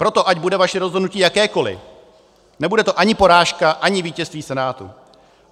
Proto ať bude vaše rozhodnutí jakékoli, nebude to ani porážka, ani vítězství Senátu.